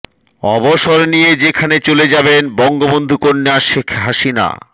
অবসর নিয়ে যেখানে চলে যাবেন বঙ্গবন্ধু কন্যা শেখ হাসিনা